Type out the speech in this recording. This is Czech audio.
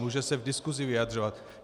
Může se v diskusi vyjadřovat.